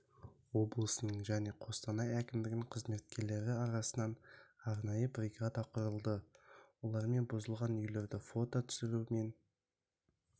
облысының және қостанай әкімдігінің қызметкерлері арасынан арнайы бригада құрылды олармен бұзылған үйлерді фото түсіру мен